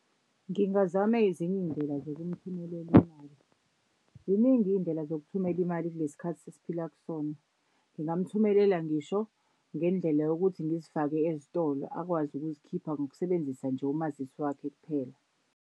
Ngingazama ezinye iy'ndlela zokumthumelela imali. Ziningi iy'ndlela zokuthumela imali kulesi khathi esiphila kusona. Ngingamthumelela ngisho ngendlela yokuthi ngizifake ezitolo akwazi ukuzikhipha ngokusebenzisa nje umazisi wakhe kuphela.